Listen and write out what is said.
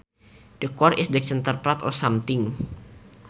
The core is the centre part of something